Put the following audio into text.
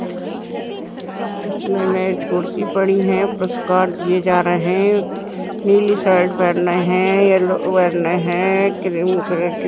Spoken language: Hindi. इसमें मेज कुर्सी पड़ी है। पुरस्कार दिए जा रहे हैं। नीली शर्ट पहने हैं येलो पहने हैं क्रीम कलर की पहने व्हाइट पहने हैं।